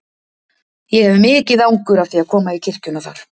Ég hef mikið angur af því að koma í kirkjuna þar.